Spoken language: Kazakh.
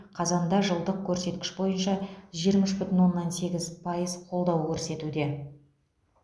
қазанда жылдық көрсеткіш бойынша жиырма үш бүтін оннан сегіз пайыз қолдау көрсетуде